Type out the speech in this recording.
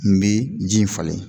N bi ji in falen